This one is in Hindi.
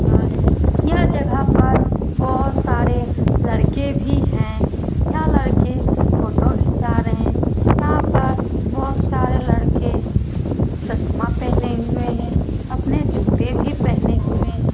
यह जगह पर बहुत सारे लड़के भी है यह लड़के फोटो घिचा रहे हैं यहां पर बहुत सारे लड़के चश्मा पहने हुए हैं अपने जूते भी पहने हुए हैं।